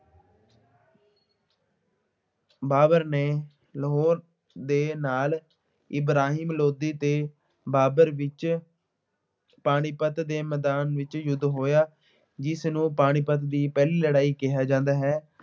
ਬਾਬਰ ਨੇ ਲਾਹੌਰ ਦੇ ਨਾਲ ਇਬਰਾਹਿਮ ਲੋਧੀ ਤੇ ਬਾਬਰ ਵਿੱਚ ਪਾਣੀਪੱਤ ਦੇ ਮੈਦਾਨ ਵਿੱਚ ਯੁੱਧ ਹੋਇਆ ਜਿਸਨੂੰ ਪਾਣੀਪੱਤ ਦੀ ਪਹਿਲੀ ਲੜਾਈ ਕਿਹਾ ਜਾਂਦਾ ਹੈ।